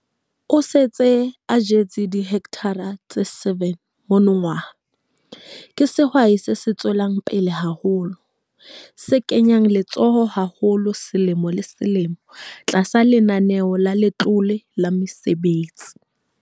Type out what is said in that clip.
O se a jetse dihekthara tse 7 monongwaha. Ke sehwai se tswelang pele haholo, se kenyang letsoho haholo selemo le selemo tlasa Lenaneo la Letlole la Mesebetsi.